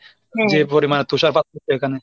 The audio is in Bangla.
যে পরিমাণে তুষারপাত এখানে।